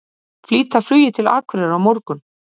Flýta flugi til Akureyrar á morgun